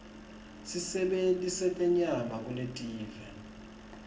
sisebenti setenyama kulelive